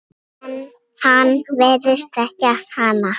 En hann virðist þekkja hana.